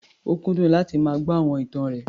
Ó kúndùn láti máa gbọ́ àwọn ìtàn rẹ̀.